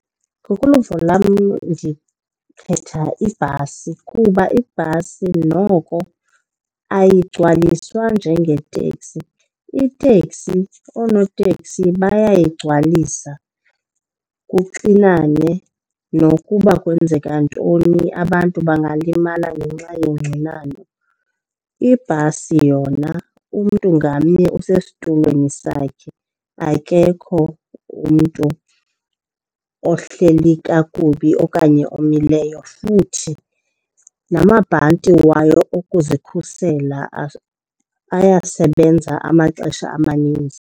Ngokoluvo lwam ndikhetha ibhasi kuba ibhasi noko ayigcwaliswa njengeeteksi, iteksi oonoteksi bayayigcwalisa kuxinane. Nokuba kwenzeka ntoni abantu bangalimala ngenxa yongxinano. ibhasi yona umntu ngamnye usesitulweni sakhe, akekho umntu kuyo ohleli kakubi okanye omileyo futhi namabhanti wayo okuzikhusela ayasebenza amaxesha amaninzi.